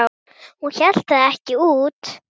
Hún hélt það ekki út!